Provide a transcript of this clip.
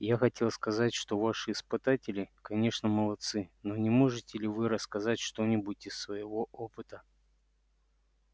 я хотел сказать что ваши испытатели конечно молодцы но не можете ли вы рассказать что-нибудь из своего опыта